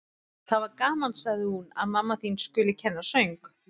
Það var gaman, sagði hún: Að mamma þín skuli kenna söng.